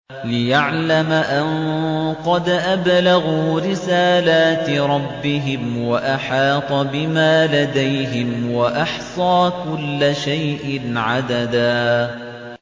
لِّيَعْلَمَ أَن قَدْ أَبْلَغُوا رِسَالَاتِ رَبِّهِمْ وَأَحَاطَ بِمَا لَدَيْهِمْ وَأَحْصَىٰ كُلَّ شَيْءٍ عَدَدًا